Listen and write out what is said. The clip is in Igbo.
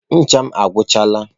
Ncha m agwuchaala.